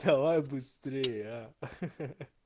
давай быстрее а ха-ха